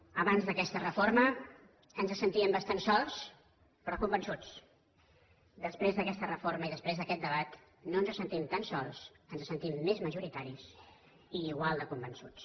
abans d’aquesta reforma ens sentíem bastant sols però convençuts després d’aquesta reforma i després d’aquest debat no ens sentim tan sols ens sentim més majoritaris i igual de convençuts